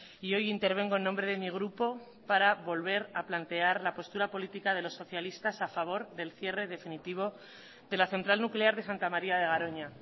y hoy intervengo en nombre de mi grupo para volver a plantear la postura política de los socialistas a favor del cierre definitivo de la central nuclear de santa maría de garoña